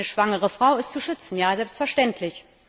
Eine schwangere Frau ist zu schützen ja, selbstverständlich.